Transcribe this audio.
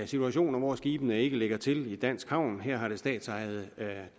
situationer hvor skibene ikke lægger til i dansk havn her har det statsejede